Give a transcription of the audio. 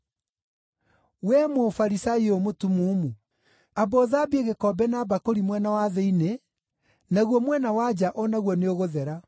Wee Mũfarisai ũyũ mũtumumu! Amba ũthambie gĩkombe na mbakũri mwena wa thĩinĩ, naguo mwena wa nja o naguo nĩũgũthera.